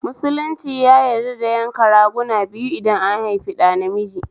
Musulunci ya yarda da yanka raguna biyu idan an haifi ɗa namiji